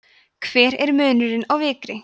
hver er munurinn á vikri